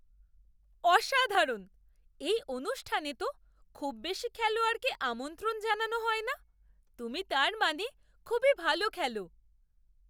অসাধারণ! এই অনুষ্ঠানে তো খুব বেশি খেলোয়াড়কে আমন্ত্রণ জানানো হয় না। তুমি তার মানে খুবই ভালো খেলো!